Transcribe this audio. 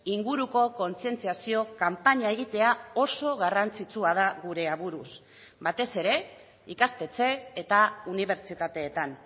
inguruko kontzientziazio kanpaina egitea oso garrantzitsua da gure aburuz batez ere ikastetxe eta unibertsitateetan